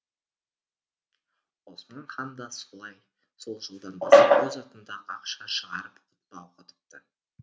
осман хан да сол жылдан бастап өз атында ақша шығарып құтпа оқытыпты